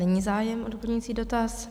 Není zájem o doplňující dotaz.